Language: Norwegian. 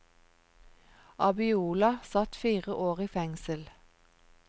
Abiola satt fire år i fengsel.